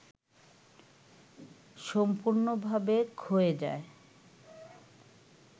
সম্পূর্ণ‌ভাবে ক্ষয়ে যায়